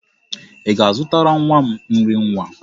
Ị ga-azụtara nwa m nri nwa?